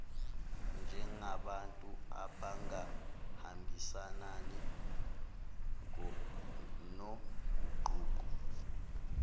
njengabantu abangahambisani noguquko